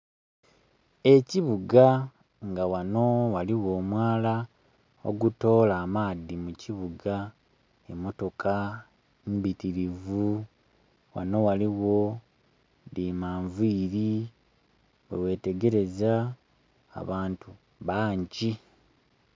Ekibuga nga wano waliwo omwala ogutoola amaadhi mu kibuga, emotoka mbitirivu wano waliwo dhi manviri bwe ghetegereza, abantu bangi.